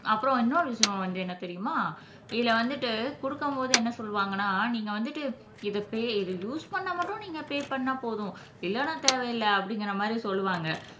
அப்புறம் இன்னொரு விஷயம் வந்து என்ன தெரியுமா இதுல வந்துட்டு கொடுக்கும் போது என்ன சொல்லுவாங்கன்னா நீங்க வந்துட்டு இதை பெ இது யூஸ் பண்ணா மட்டும் நீங்க பெ பண்ணா போதும் இல்லைன்னா தேவையில்லை அப்படிங்கிற மாதிரி சொல்லுவாங்க